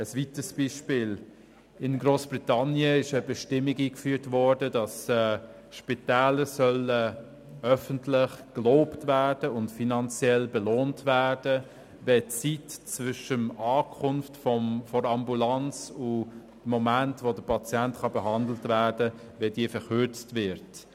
Ein weiteres Beispiel: In Grossbritannien wurde eine Bestimmung eingeführt, wonach Spitäler öffentlich gelobt und finanziell belohnt werden sollten, wenn die Zeit zwischen der Ankunft der Ambulanz und dem Moment, in dem der Patient behandelt werden konnte, verkürzt wird.